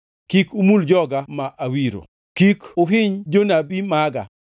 “Kik umul joga ma awiro, kik uhiny jonabi maga.”